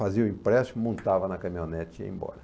Fazia o empréstimo, montava na caminhonete e ia embora.